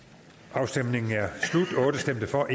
afstemningen slutter for